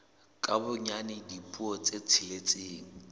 ka bonyane dipuo tse tsheletseng